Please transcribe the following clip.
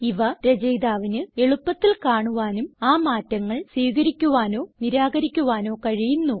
ഇവ രചയിതാവിന് എളുപ്പത്തിൽ കാണുവാനും ആ മാറ്റങ്ങൾ സ്വീകരിക്കുവാനോ നിരാകരിക്കുവാനോ കഴിയുന്നു